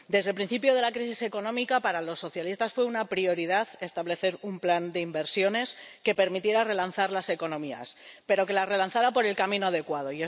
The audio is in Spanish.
Desde el principio de la crisis económica para los socialistas fue una prioridad establecer un plan de inversiones que permitiera relanzar las economías, pero que las relanzara por el camino adecuado